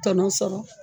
Tɔnɔ sɔrɔ